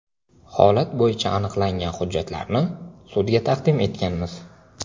Holat bo‘yicha aniqlangan hujjatlarni sudga taqdim etganmiz.